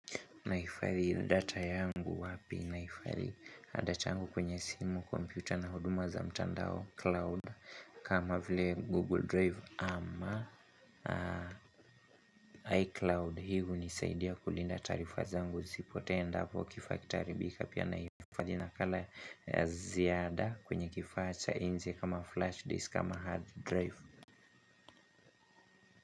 Nahifadhi data yangu wapi nahifadhi data yangu kwenye simu, kompyuta na huduma za mtandao cloud kama vile Google Drive ama iCloud hii hunisaidia kulinda taarifa zangu zisipotee endapo kifaa kitaharibika pia nahifadhi nakala ya ziada kwenye kifaa cha nje kama flash disk ama hard drive.